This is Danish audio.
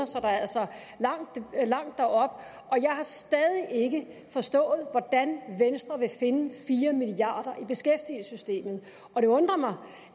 så der er altså langt derop jeg har stadig ikke forstået hvordan venstre vil finde fire milliard i beskæftigelsessystemet og det undrer mig